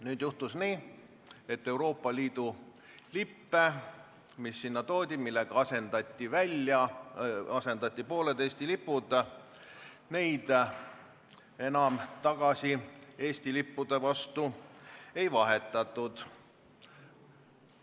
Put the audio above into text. Nüüd juhtus nii, et Euroopa Liidu lippe, mis sinna toodi ja millega asendati pooled Eesti lipud, enam tagasi Eesti lippude vastu ei vahetatud.